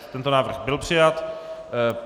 Tento návrh byl přijat.